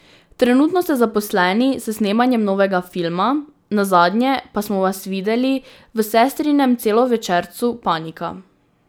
Trenutno ste zaposleni s snemanjem novega filma, nazadnje pa smo vas videli v sestrinem celovečercu Panika.